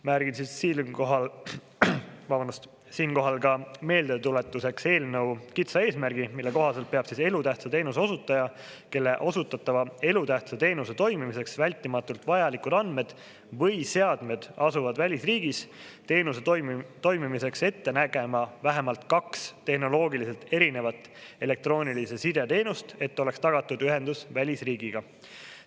Märgin siinkohal ka meeldetuletuseks eelnõu kitsa eesmärgi, mille kohaselt peab elutähtsa teenuse osutaja, kelle osutatava elutähtsa teenuse toimimiseks vältimatult vajalikud andmed või seadmed asuvad välisriigis, teenuse toimimiseks ette nägema vähemalt kaks tehnoloogiliselt erinevat elektroonilise side teenust, et oleks tagatud ühendus välisriigiga.